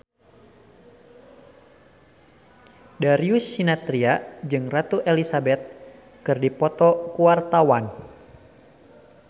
Darius Sinathrya jeung Ratu Elizabeth keur dipoto ku wartawan